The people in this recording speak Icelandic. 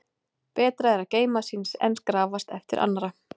Betra er að geyma síns en grafast eftir annarra.